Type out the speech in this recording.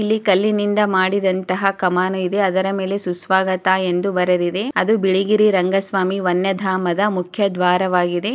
ಇಲ್ಲಿ ಕಲ್ಲಿನಿಂದ ಮಾಡಿದಂತಹ ಕಮಾನು ಇದೆ ಅದರ ಮೇಲೆ ಸುಸ್ವಾಗತ ಎಂದು ಬರೆದಿದೆ ಅದು ಬಿಳಿಗೆರೆ ರಂಗ ಸ್ವಾಮಿ ವನ್ಯಧಾಮದ ಮುಖ್ಯ ದ್ವಾರವಾಗಿದೆ.